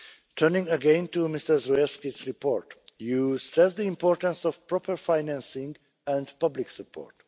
ensure its legacy. Turning again to Mr Zdrojewski's report you stress the importance of proper financing